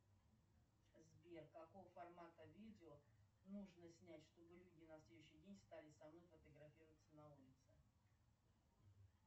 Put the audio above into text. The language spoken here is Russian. сбер какого формата видео нужно снять что бы люди на следующий день стали со мной фотографироваться на улице